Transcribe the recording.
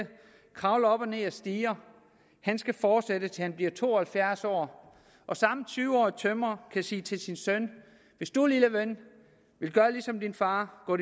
kravler op og ned ad stiger skal fortsætte til han bliver to og halvfjerds år og samme tyve årige tømrer kan sige til sin søn hvis du lille ven vil gøre ligesom din far og gå